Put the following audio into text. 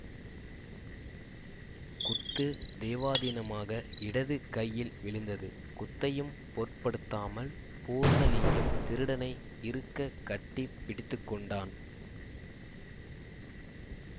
குத்து தெய்வாதீனமாக இடது கையில் விழுந்தது குத்தையும் பொருட்படுத்தாமல் பூர்ணலிங்கம் திருடனை இறுகக் கட்டி பிடித்துக்கொண்டான்